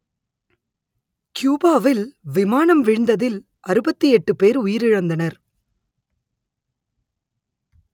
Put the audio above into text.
கியூபாவில் விமானம் வீழ்ந்ததில் அறுபத்தி எட்டு பேர் உயிரிழந்தனர்